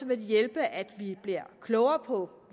vil det hjælpe at vi bliver klogere på